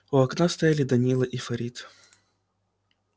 у окна стояли данила и фарид